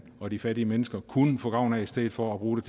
og de fattige mennesker kunne få gavn af i stedet for at bruge